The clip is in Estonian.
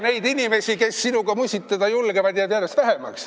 Neid inimesi, kes sinuga musitada julgevad, jääb järjest vähemaks.